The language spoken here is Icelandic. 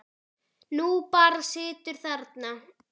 Þú bara situr þarna.